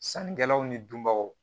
Sannikɛlaw ni dunbaw